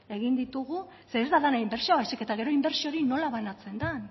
zeren ez da dena inbertsioa baizik eta gero inbertsio hori nola banatzen den